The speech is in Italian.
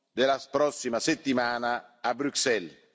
della prossima settimana, a Bruxelles.